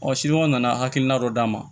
Ɔ nana hakilina dɔ d'a ma